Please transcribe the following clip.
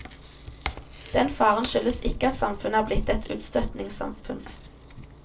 Den faren skyldes ikke at samfunnet er blitt et utstøtingssamfunn.